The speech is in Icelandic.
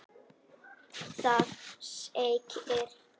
Það segir: